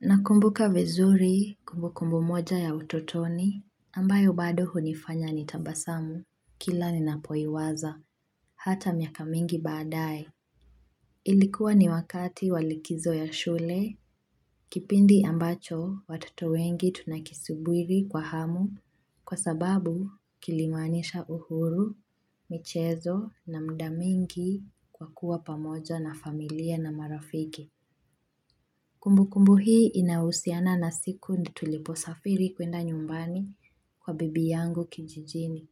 Nakumbuka vizuri kumbu kumbu moja ya utotoni, ambayo bado hunifanya ni tabasamu kila ninapoiwaza, hata miaka mingi baadaye. Ilikuwa ni wakati walikizo ya shule, kipindi ambacho watoto wengi tunakisubiri kwa hamu, kwa sababu kilimaanisha uhuru, michezo na mudamingi kwa kuwa pamoja na familia na marafiki. Kumbu kumbu hii inahusiana na siku tulipo safiri kwenda nyumbani kwa bibi yangu kijijini.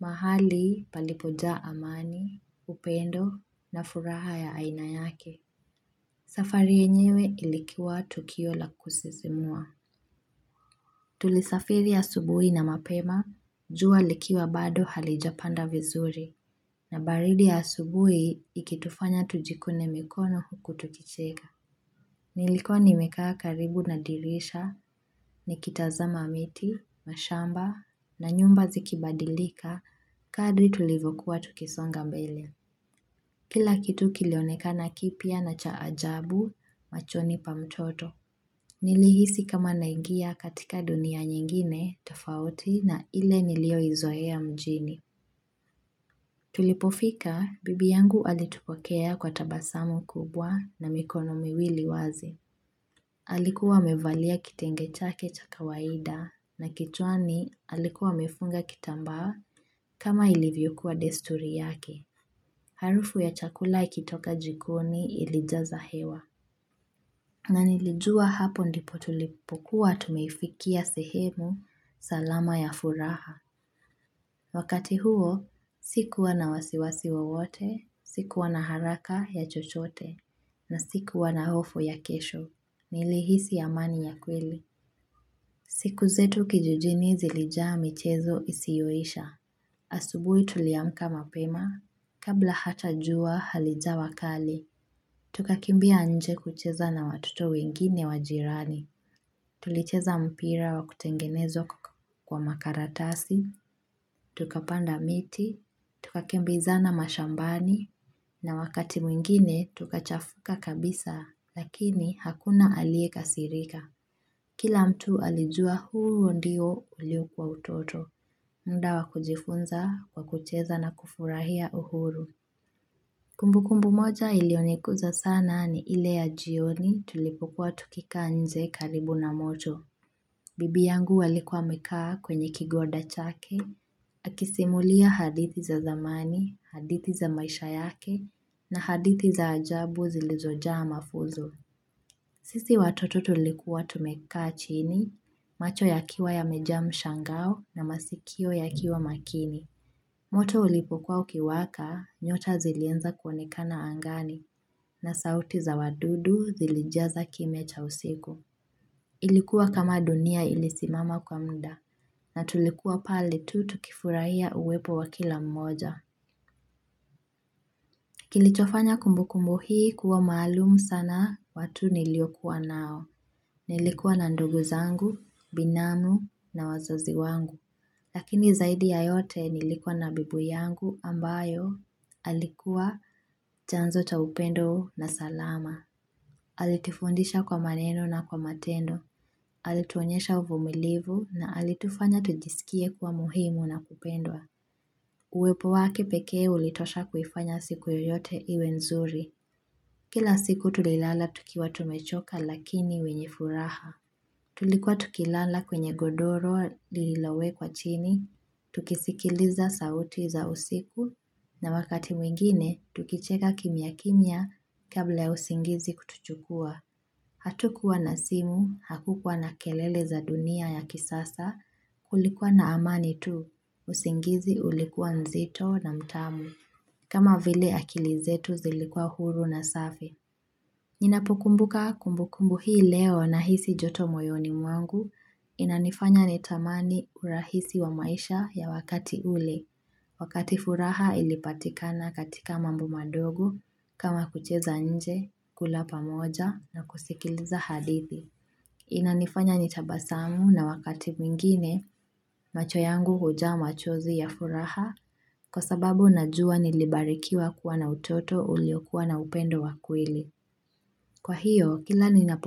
Mahali palipoja amani, upendo na furaha ya ainayake. Safari yenyewe ilikiwa Tukio la kusisimua. Tulisafiri asubuhi na mapema, jua likiwa bado halijapanda vizuri. Na baridi ya asubuhi ikitufanya tujikune mikono huku tukicheka. Nilikuwa nimekaa karibu nadirisha, nikitazamamiti, mashamba, na nyumba zikibadilika, kadri tulivyokuwa tukisonga mbele. Kila kitu kilionekana kipya na chaajabu, machoni pa mtoto. Nilihisi kama naingia katika dunia nyingine, tofauti na ile niliyo izoea mjini. Tulipofika, bibi yangu alitupokea kwa tabasamu kubwa na mikono miwili wazi. Alikuwa amevalia kitenge chake cha kawaida na kichwani alikuwa amefunga kitamba kama ilivyokuwa desturi yake. Harufu ya chakula ikitoka jikoni ilijaza hewa. Na nilijua hapo ndipo tulipokuwa tumeifikia sehemu salama ya furaha. Wakati huo sikuwa na wasiwasi wowote, sikuwa na haraka ya chochote na sikuwa na hofu ya kesho. Nili hisi amani ya kweli siku zetu kijijini zilijaa michezo isiyoisha asubuhi tuliamka mapema Kabla hata jua halijawakali Tukakimbia nje kucheza na watoto wengine wajirani Tulicheza mpira wa kutengenezwa kwa makaratasi Tukapanda miti Tukakimbiza na mashambani na wakati mwingine tukachafuka kabisa Lakini hakuna aliye kasirika Kila mtu alijua huo ndio uliyokuwa utoto, mudawa kujifunza, wakucheza na kufurahia uhuru. Kumbu kumbu moja iliyoniguza sana ni ile ya jioni tulipokua tukika nje karibu na moto. Bibi yangu alikua amekaa kwenye kigoda chake, akisimulia hadithi za zamani, hadithi za maisha yake, na hadithi za ajabu zilizojaa mafunzo. Sisi watoto tulikuwa tumekaa chini, macho ya kiwa ya meja mshangao na masikio ya kiwa makini. Moto ulipokuwa ukiwaka nyota zilianza kuonekana angani na sauti za wadudu zilijaza kimiacha usiku. Ilikuwa kama dunia ilisimama kwa muda na tulikuwa pale tu tukifurahia uwepo wa kila mmoja. Kilichofanya kumbu kumbu hii kuwa maalumu sana watu niliokuwa nao. Nilikuwa na nduguzangu, binamu na wazazi wangu. Lakini zaidi ya yote nilikuwa na babu yangu ambayo alikuwa chanzo cha upendo na salama. Alitufundisha kwa maneno na kwa matendo. Alituonyesha uvumilivu na alitufanya tujisikie kuwa muhimu na kupendwa. Uwepo wake pekee ulitosha kuifanya siku yoyote iwe nzuri. Kila siku tulilala tukiwa tumechoka lakini wenye furaha. Tulikuwa tukilala kwenye godoro lililowe kwa chini, tukisikiliza sauti za usiku, na wakati mwingine, tukicheka kimia kimia kablaya usingizi kutuchukua. Hatukuwa na simu, hakukuwa na kelele za dunia ya kisasa, kulikuwa na amani tu, usingizi ulikuwa nzito na mtamu. Kama vile akilizetu zilikua huru na safi. Ninapokumbuka kumbukumbu hii leo na hisi joto moyoni mwangu inanifanya nitamani urahisi wa maisha ya wakati ule. Wakati furaha ilipatikana katika mambo madogo kama kucheza nje, kulapa moja na kusikiliza hadithi. Inanifanya nitabasamu na wakati mwingine macho yangu hujaa machozi ya furaha kwa sababu najua nilibarikiwa kuwa na utoto uliokuwa na upendo wakweli. Kwa hiyo kila nina po.